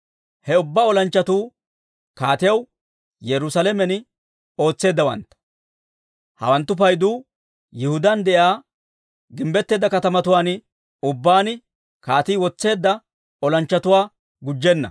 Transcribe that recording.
Ha ubbaa olanchchatuu kaatiyaw Yerusaalamen ootseeddawantta; hawanttu paydu Yihudaan de'iyaa gimbbetteedda katamatuwaan ubbaan kaatii wotseedda olanchchatuwaa gujjenna.